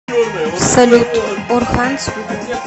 салют орханс видео